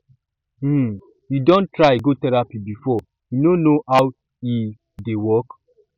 um you don try go therapy before you know how e um dey work